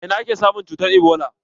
A ina ake samun cutar ebola?